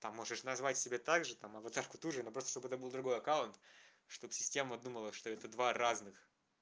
там можешь назвать себя так же там аватарку ту же ну просто чтобы это был другой аккаунт чтоб система думала что это два разных